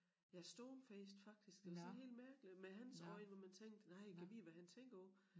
Ja stonefaced faktisk det var sådan helt mærkeligt men hans øjne hvor man tænkte nej gad vide hvad han tænker på